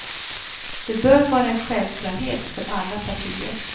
Det bör vara en självklarhet för alla partier.